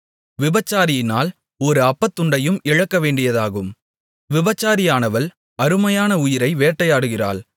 விபசாரியினால் ஒரு அப்பத்துண்டையும் இழக்கவேண்டியதாகும் விபசாரியானவள் அருமையான உயிரை வேட்டையாடுகிறாள்